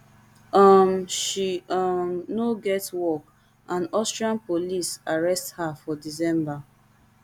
um she um no get work and austrian police arrest her for december